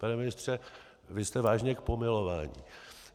Pane ministře, vy jste vážně k pomilování.